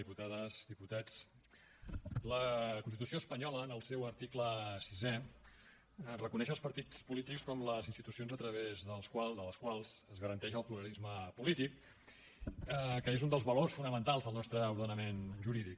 diputades diputats la constitució espanyola en el seu article sisè reconeix els partits polítics com les institucions a través de les quals es garanteix el pluralisme polític que és un dels valors fonamentals del nostre ordenament jurídic